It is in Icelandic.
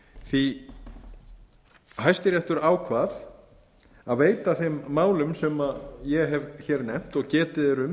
frumvarpi hæstiréttur ákvað að veita þeim málum sem ég hef nefnt og getið er um